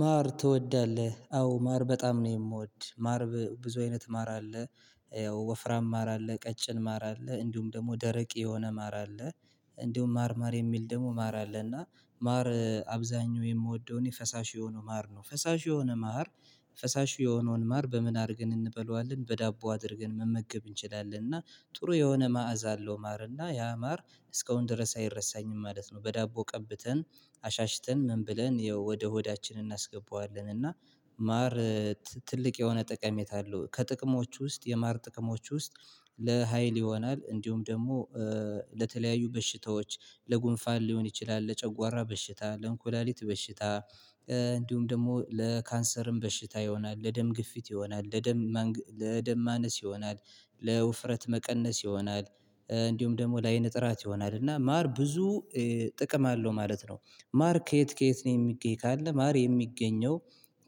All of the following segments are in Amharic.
ማር ትወዳለህ? አዎ ማር በጣም ነው የምወድ ማር ብዙ አይነት ማር አለ ወፍራም ማር አለ ቀጭን ማር አለ እንዲሁም ደግሞ ደረቅ የሆነ ማር አለ እንዲሁም ማር ማር የሚል ደግሞ ማር አለ አለና ማር አብዛኛው የምወደው እኔ ፈሳሽ የሆነ ማር ነው ፈሳሽ የሆነ ማር ፈሳሽ የሆነውን ማር በምን አድርገን እንበለዋለን በዳቦ አድርገን መመገብ እንችላለን እና ጥሩ የሆነ መዓዛ አለው ማርና ያ ማር እስካሁን ድረስ አይረሳኝም ማለት ነው በዳቦ ቀብተን አሻሽተን ምን ብለን ወደ ሆዳችን እናስገባዋለን እና ማር ትልቅ የሆነ ጠቀሜታ አለው ከጥቅሞች ውስጥ የማር ጥቅሞች ውስጥ ለሃይል ይሆናል እንዲሁም ደግሞ ለተለያዩ በሽታዎች ለጉንፋን ሊሆን ይችላል ለጨጓራ በሽታ ለእንኩላሊት በሽታ እንዲሁም ደግሞ ለካንሰርም በሽታ ይሆናል ለደም ግፊት ይሆናል ለደም ለደም ለደም ማነስ ይሆናል ለውፍረት መቀነስ ይሆናል እንዲሁም ደግሞ ለአይን ጥራት ይሆናል እና ማር ብዙ ጥቅም አለው ማለት ነው ማር ከየት ከየት ነው የሚገኝ ካለ ማር የሚገኘው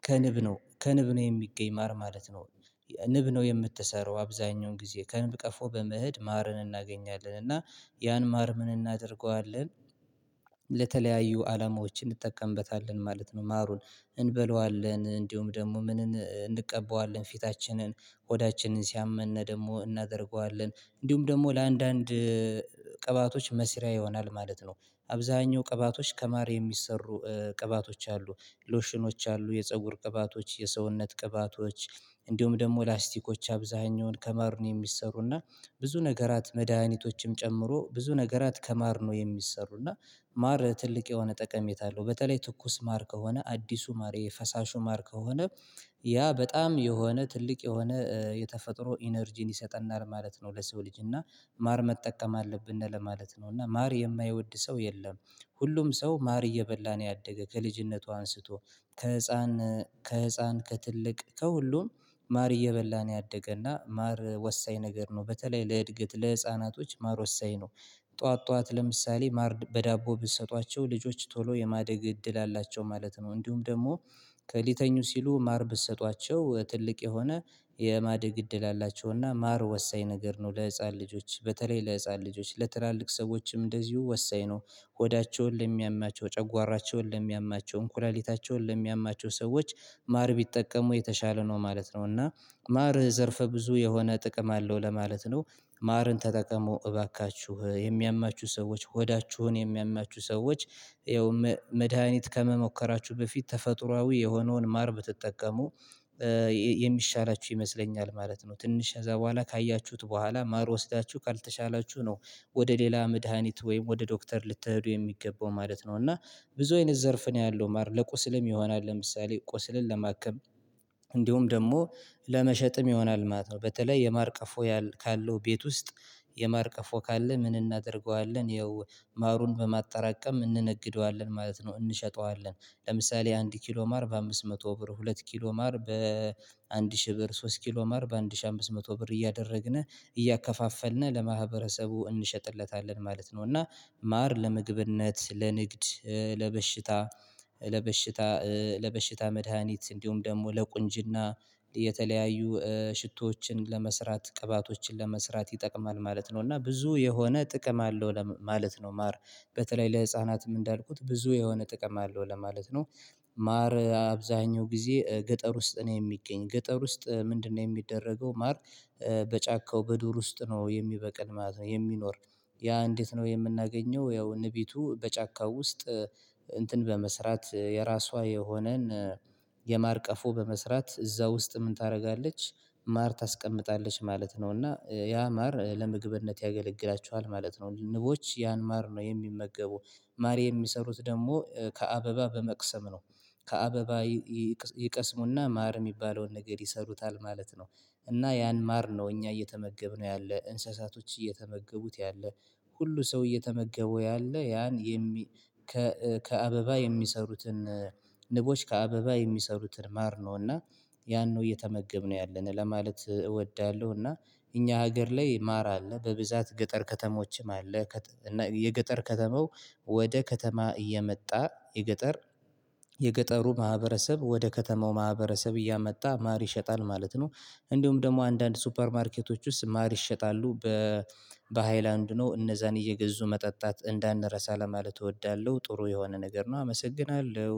ከንብ ነው ከንብ ነው የሚገኝ ማር ማለት ነው ንብ ነው የምትሰራው አብዛኛውን ጊዜ ከንብ ቀፎ በመሄድ ማርን እናገኛለን እና ያን ማር ምን እናደርገዋለን ለተለያዩ አላማዎች እንጠቀምበታለን ማለት ነው ማሩን እንበለዋለን እንዲሁም ደግሞ ምን እንቀበዋለን ፊታችንን ሆዳችንን ሲያመነ ደግሞ እናደርገዋለን እንዲሁም ደግሞ ለአንዳንድ ቅባቶች መስሪያ ይሆናል ማለት ነው አብዛኛው ቅባቶች ከማር የሚሰሩ ቅባቶች አሉ ሎሽኖች አሉ የፀጉር ቅባቶች የሰውነት ቅባቶች እንዲሁም ደግሞ ላስቲኮች አብዛኛውን ከማር ነው የሚሰሩና ብዙ ነገራት መድሃኒቶችም ጨምሮ ብዙ ነገራት ከማር ነው የሚሰሩና ማር ትልቅ የሆነ ጠቀሜታ አለው በተለይ ትኩስ ማር ከሆነ አዲሱ ማር የፈሳሹ ማር ከሆነ ያ በጣም የሆነ ትልቅ የሆነ የተፈጥሮ ኢነርጂን ይሰጠናል ማለት ነው ለሰው ልጅ እና ማር መጠቀም አለብነ ለማለት ነው እና ማር የማይወድ ሰው የለም ሁሉም ሰው ማር እየበላ ነው ያደገ ከልጅነቷ አንስቶ ከህፃን ከህፃን ከትልቅ ከሁሉም ማር እየበላን ያደገና ማር ወሳኝ ነገር ነው በተለይ ለእድገት ለህፃናቶች ማር ወሰኝ ነው ጠዋት ጠዋት ለምሳሌ ማር በዳቦ ብትሰጧቸው ልጆች ቶሎ የማደግ እድል አላቸው ማለት ነው እንዲሁም ደግሞ ሊተኙ ሲሉ ማር ብትሰጧቸው ትልቅ የሆነ የማደግ እድል አላቸውና ማር ወሳኝ ነገር ነው ለህፃን ልጆች በተለይ ለህፃን ልጆች ለትላልቅ ሰዎችም እንደዚሁ ወሳኝ ነው ሆዳቸውን ለሚያማቸው ጨጓራቸውን ለሚያማቸው እንኩላሊታቸውን ለሚያማቸው ሰዎች ማር ቢጠቀሙ የተሻለ ነው ማለት ነው እና ማር ዘርፈ ብዙ የሆነ ጥቅም አለው ለማለት ነው ማርን ተጠቀሙ እባካችሁ የሚያማችሁ ሰዎች ሆዳችሁን የሚያማችሁ ሰዎች ያው መድሃኒት ከመሞከራችሁ በፊት ተፈጥሮአዊ የሆነውን ማር ብትጠቀሙ ይ የሚሻላችሁ ይመስለኛል ማለት ነው ትንሽ ከዛ በኋላ ካያችሁት በኋላ ማር ወስዳችሁ ካልተሻላችሁ ነው ወደ ሌላ መድሃኒት ወይም ወደ ዶክተር ልትሄዱ የሚገባው ማለት ነው እና ብዙ አይነት ዘርፍ ነው ያለው ማር ለቁስልም ይሆናል ለምሳሌ ቁስልን ለማከም እንዲሁም ደግሞ ለመሸጥም ይሆናል ማለት ነው በተለይ የማር ቀፎ ካለው ቤት ውስጥ የማር ቀፎ ካለ ምን እናደርገዋለን ይኸው ማሩን በማጠራቀም እንነግደዋለን ማለት ነው እንሸጠዋለን ለምሳሌ አንድ ኪሎ ማር በአምስት መቶ ብር ሁለት ኪሎ ማር በአንድ ሺህ ብር ሶስት ኪሎ ማር በአንድ ሺህ አምስት መቶ ብር እያደረግነ እያከፋፈልነ ለማህበረሰቡ እንሸጥለታለን ማለት ነው እና ማር ለምግብነት ለንግድ ለበሽታ ለበሽታ ለበሽታ መድሃኒት እንዲሁም ደግሞ ለቁንጅና የተለያዩ ሽቶዎችን ለመስራት ቅባቶችን ለመስራት ይጠቅማል ማለት ነው እና ብዙ የሆነ ጥቅም አለው ለማለት ነው ማር በተለይ ለህፃናትም እንዳልኩት ብዙ የሆነ ጥቅም አለው ለማለት ነው ማር አብዛኛው ጊዜ ገጠር ውስጥ ነው የሚገኝ ገጠር ውስጥ ምንድነው የሚደረገው ማር በጫካው በዱር ውስጥ ነው የሚበቅል ማለት ነው የሚኖር ያ እንዴት ነው የምናገኘው ያው ንቢቱ በጫካው ውስጥ እንትን በመስራት የራሷ የሆነን የማር ቀፎ በመስራት እዛ ውስጥ ምን ታደርጋለች ማር ታስቀምጣለች ማለት ነው እና ያ ማር ለምግብነት ያገለግላችኋል ማለት ነው ንቦች ያን ማር ነው የሚመገቡ ማር የሚሰሩት ደግሞ ከአበባ በመቅሰም ነው ከአበባ ይቀስሙና ማር የሚባለውን ነገር ይሰሩታል ማለት ነው እና ያን ማር ነው እኛ እየተመገብነው ያለ እንስሳቶች እየተመገቡት ያለ ሁሉ ሰው እየተመገበው ያለ ያን የሚ ከእ ከአበባ የሚሰሩትን ንቦች ከአበባ የሚሰሩትን ማር ነው እና ያን ነው እየተመገብነው ያለ ለማለት እወዳለሁ እና እኛ ሀገር ላይ ማር አለ በብዛት ገጠር ከተሞችም አለ እና የገጠር ከተማው ወደ ከተማ እየመጣ የገጠር የገጠሩ ማህበረሰብ ወደ ከተማው ማህበረሰብ እያመጣ ማር ይሸጣል ማለት ነው እንደውም ደግሞ አንዳንድ ሱፐር ማርኬቶች ውስጥ ማር ይሸጣሉ በ በሃይላንድ ነው እነዛን እየገዙ መጠጣት እንዳንረሳ ለማለት እወዳለሁ ጥሩ የሆነ ነገር ነው አመሰግናለሁ